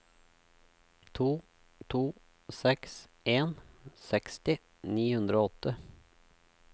to to seks en seksti ni hundre og åtte